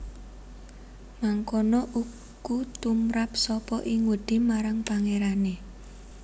Mangkono uku tumrap sapa ing wedi marang Pangerane